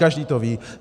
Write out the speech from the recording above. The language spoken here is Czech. Každý to ví.